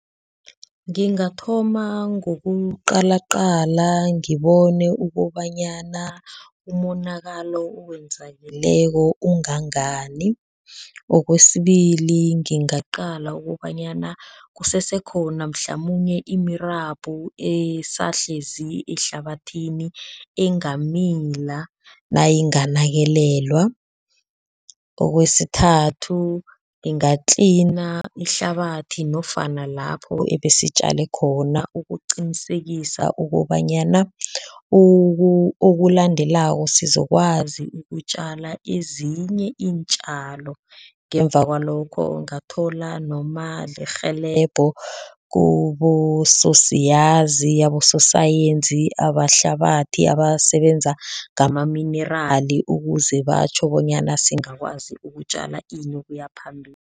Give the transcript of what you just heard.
Ngingathoma ngokuqalaqala ngibone ukobanyana umonakalo owenzakeleko ungangani, okwesibili, ngingaqala ukobanyana kusese khona mhlamunye imirabhu esahlezi ehlabathini engamila nayinganakekelwa, okwesithathu, nginga-cleaner ihlabathi nofana lapho ebesitjale khona ukuqinisekisa ukobanyana okulandelako sizokwazi ukutjala ezinye iintjalo ngemva kwalokho ngathola noma lirhelebho kubososiyazi, abososayensi abahlabathi abasebenza ngama-mineral ukuze batjho bonyana singakwazi ukutjala ini ukuya phambili.